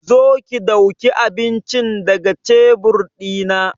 Zo ki dauka abincin ga daga tebur dina!